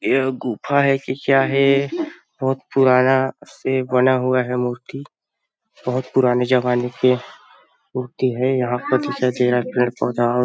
ये गुफा है कि क्या है? बहुत पुराना से बना हुआ है मूर्ति बहुत पुराने जमाने के मूर्ती है यहां पर दिखाई दे रहा है पेड़ पौधा --